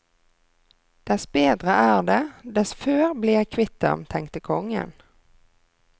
Dess bedre er det, dess før blir jeg kvitt ham, tenkte kongen.